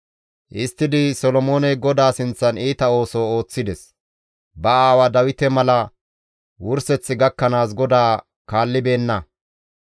Histtidi Solomooney GODAA sinththan iita ooso ooththides; ba aawa Dawite mala wurseth gakkanaas GODAA kaallibeenna.